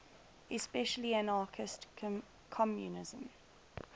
especially anarchist communism